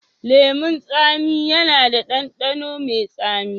Lemun tsami yana da ɗanɗano mai tsami.